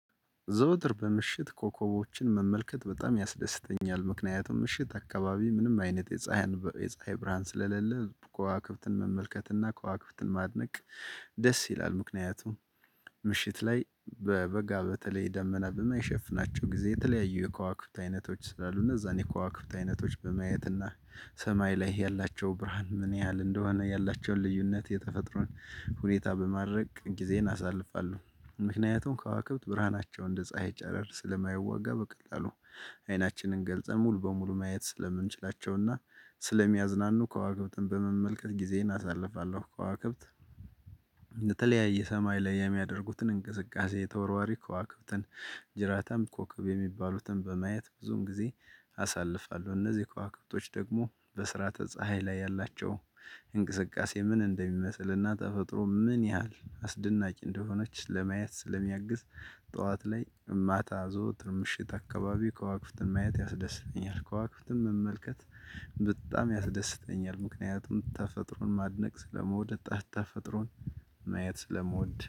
ዘውትር በምሽት ኮከቦችን መመልከት በጣም ያስደስተኛል ምክንያቱም ምሽት አካባቢ ምንም አይነት የፀሀይ የፀሀይ ብርሃን ስለሌለ ከዋክብትን መመልከትና ከዋክብትን ማድነቅ ደስ ይላል። ምክንያቱም። ምሽት ላይ በበጋ በተለይ ደመና በማይሸፍናቸው ጊዜ የተለያዩ የከዋክብት አይነቶች ስላሉ እነዛን የክዋክብት አይነቶች በማየት እና ሰማይ ላይ ያላቸው ብርሃን ምን ያህል እንደሆነ ያላቸውን ልዩነት የተፈጥሮን ሁኔታ በማድረግ ጊዜን አሳልፋለሁ። ምክንያቱም ከዋክብት ብርሃናቸውን እንደ ፀሀይ ጭረር ስለማይዋጋ በቀላሉ አይናችንን ገልፀን ሙሉ በሙሉ ማየት ስለምንችላቸውና ስለሚያዝናኑ ከዋክብትን በመመልከት ጊዜዬን አሳልፋለሁ። ከዋክብት የተለያየ ሰማይ ላይ የሚያደርጉትን እንቅስቃሴ የተወራወሪ ከዋክብትን ጅራታም ኮከብ የሚባሉትን በማየት ብዙም ጊዜ አሳልፋለሁ። እነዚህ ከዋክብቶች ደግሞ በስርአተ ተፀሀይ ላይ ያላቸው እንቅስቃሴ ምን እንደሚመስልና ተፈጥሮ ምን ያህል አስደናቂ እንደሆነች ለማየት ስለሚያግዝ። ጠዋት ላይ ማታ ዘወትር ምሽት አካባቢ ከዋክብትን ማየት ያስደስተኛል። ከዋክብትን መመልከት በጣም ያስደስተኛል። ምክንያቱም ተፈጥሮን ማድነቅ ስለምወድ ተፈጥሮን ማየት ስለመውደት